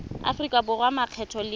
aforika borwa a makgetho le